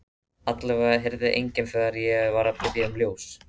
Allavega heyrði enginn þegar ég var að biðja um ljós.